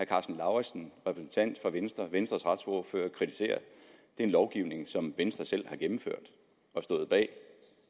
karsten lauritzen venstres venstres retsordfører kritiserer er en lovgivning som venstre selv har gennemført og stået bag